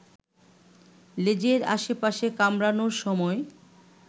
লেজের আশপাশে কামড়ানোর সময়